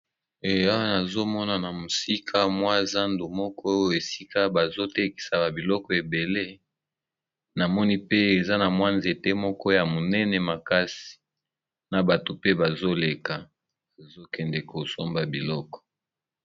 Eya azomona na mosika mwa zando moko oyo esika bazotekisa ba biloko ebele, namoni pe eza na mwa nzete moko ya monene makasi na bato pe bazoleka azokende kosomba biloko.